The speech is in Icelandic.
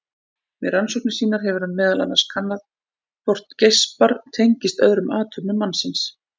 Við rannsóknir sínar hefur hann meðal annars kannað hvort geispar tengist öðrum athöfnum mannsins.